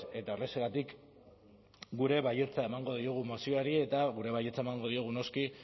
eta horrexegatik gure baietza emango diogu mozioari eta gure baietza emango diogu noski